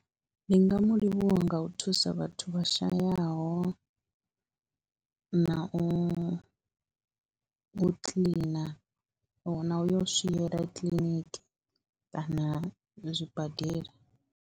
Ndi nga mu livhuwa nga u thusa vhathu vha shayaho, na u u kiḽina u na u swiela kiḽiniki kana zwibadela.